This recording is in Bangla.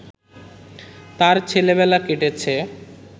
তার ছেলেবেলা কেটেছে